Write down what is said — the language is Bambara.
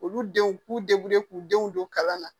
Olu denw k'u k'u denw don kalan na